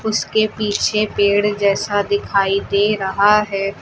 इसके पीछे पेड़ जैसा दिखाई दे रहा है।